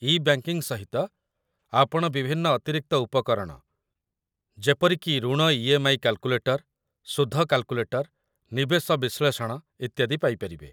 ଇ banking ସହିତ, ଆପଣ ବିଭିନ୍ନ ଅତିରିକ୍ତ ଉପକରଣ ଯେପରିକି ଋଣ ଇ.ଏମ୍.ଆଇ. କାଲକୁଲେଟର୍, ସୁଧ କାଲକୁଲେଟର୍, ନିବେଶ ବିଶ୍ଳେଷଣ, ଇତ୍ୟାଦି ପାଇପାରିବେ